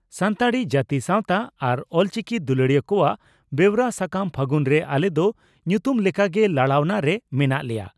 ᱥᱟᱱᱛᱟᱲᱤ ᱡᱟᱹᱛᱤ ᱥᱟᱣᱛᱟ ᱟᱨ ᱚᱞᱪᱤᱠᱤ ᱫᱩᱞᱟᱹᱲᱤᱭᱟᱹ ᱠᱚᱣᱟᱜ ᱵᱮᱣᱨᱟ ᱥᱟᱠᱟᱢ 'ᱯᱷᱟᱹᱜᱩᱱ' ᱨᱮ ᱟᱞᱮ ᱫᱚ ᱧᱩᱛᱩᱢ ᱞᱮᱠᱟ ᱜᱮ ᱞᱟᱲᱟᱣᱱᱟ ᱨᱮ ᱢᱮᱱᱟᱜ ᱞᱮᱭᱟ ᱾